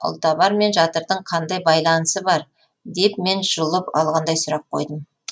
ұлтабар мен жатырдың қандай байланысы бар деп мен жұлып алғандай сұрақ қойдым